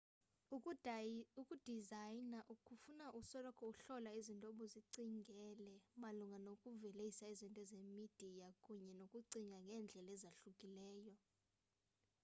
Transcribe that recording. ukudizayina kufuna usoloko uhlola izinto obuzicingele malunga nokuvelisa izinto zemidiya kunye nokucinga ngendlela ezahlukileyo